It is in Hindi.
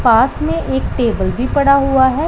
पास में एक टेबल भी पड़ा हुआ है।